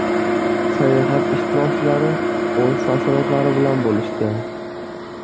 Sayohat ishtirokchilari o‘z taassurotlari bilan bo‘lishdi .